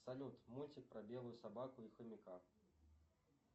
салют мультик про белую собаку и хомяка